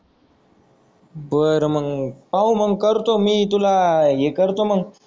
बर मग पाहू मग करतो मी तुला हे करतो मग?